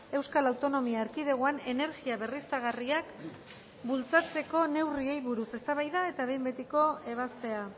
euskal autonomia erkidegoan energia berriztagarriak bultzatzeko neurriei buruz eztabaida eta behin betiko ebazpena